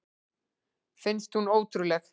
Finnst hún ótrúleg.